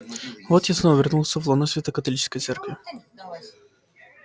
вот я снова вернулся в лоно святой католической церкви